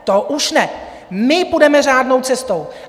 To už ne, my půjdeme řádnou cestou.